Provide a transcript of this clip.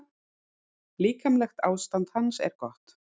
Líkamlegt ástand hans er gott.